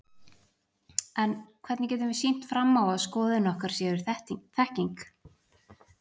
En hvernig getum við sýnt fram á að skoðanir okkar séu þekking?